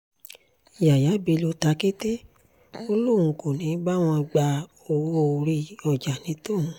yàyà bello tàkété ó lóun kò ní í bá wọn gba owó-orí ọjà ní tòun